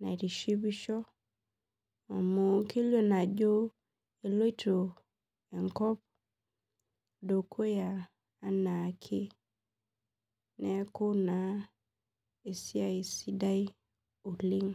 naitishipishobamu kelio ajo eloito enkop dukuya anaakeneaku na esiai sidai oleng.